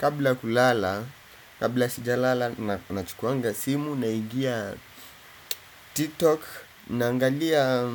Kabla ya kulala, kabla sijalala na chukuanga simu naingia TikTok. Naangalia